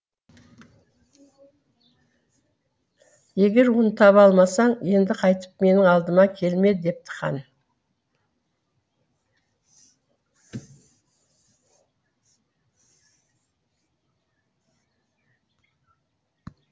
егер оны таба алмасаң енді қайтып менің алдыма келме депті хан